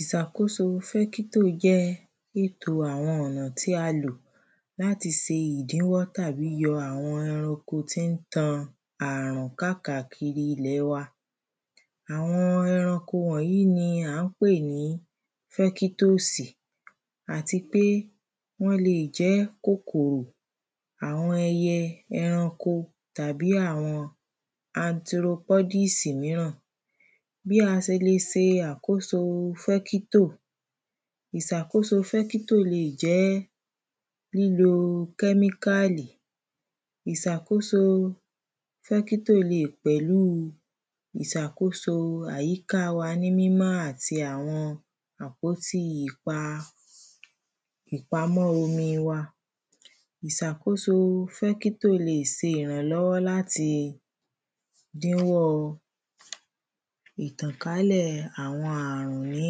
ìsàkóso fẹ́kítò jẹ́ àwọn ọ̀nà tí a lò láti se ìdíwọ́ tàbí yọ àwọn eranko tí ń tan ààrùn kákàkiri ilẹ̀ wa àwọn eranko wọ̀nyí ni à ń pè ní fẹ́kítósì àti pé wọ́n le jẹ́ kòkòrò àwọn ẹyẹ eranko tàbí yọ àwọn antiropódìsì míràn bí a se le se àkóso fẹ́kítò ìsàkóso fẹ́kítò le ẹ̀ jẹ́ lílo kẹ́míkàlì ìsàkóso fẹ́kítò le è pẹ̀lú ìsàkóso àyíká wa ní mímọ́ àti àwọn àpótí ìpa ìpamọ́ omi wa ìsàkóso fẹ́kítò le è se ìrànlọ́wọ́ láti dínwọ́ ìtànkálẹ̀ àwọn àrùn ní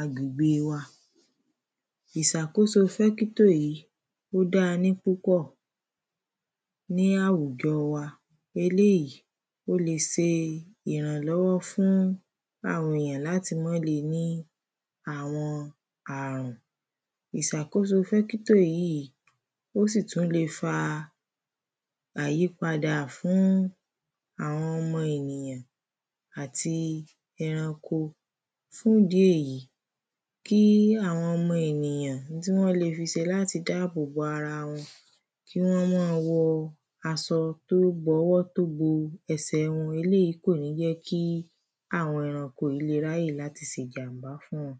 àgbègbè wa ìsàkóso fẹ́kítò yí ó dá ní púpọ̀ ní àwùjọ wa eléyí ó le se ìrànlọ́wọ́ fún àwọn èyàn láti mọ́ le ní àwọn àrùn ìsàkóso fẹ́kítò yí ó sì tú le fa àyípadà fún àwọn ọmọ ènìyàn àti eranko fún idi èyí kí àwọn ọmọ ènìyàn ohun tí wọ́n le ṣe láti dábòbò ara wọn kí wọ́n mọ́ wọ asọ tó bọwọ́ tó bo ẹsẹ̀ wọn eléyí kò ní jẹ́ kí àwọn eranko yí le ráyè láti se ìjàm̀bá fún wọn